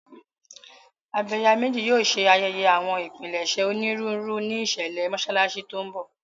Abẹ̀yàmejì yóò ṣe ayẹyẹ àwọn ìpilẹ̀ṣẹ̀ onírúurú ní ìṣẹ̀lẹ̀ Mọ́ṣáláṣí tí ń bọ̀.